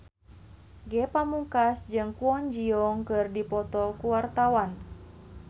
Ge Pamungkas jeung Kwon Ji Yong keur dipoto ku wartawan